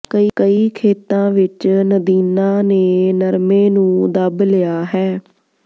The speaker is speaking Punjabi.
ਕਈ ਖੇਤਾਂ ਵਿਚ ਨਦੀਨਾਂ ਨੇ ਨਰਮੇ ਨੂੰ ਦੱਬ ਲਿਆ ਹੈ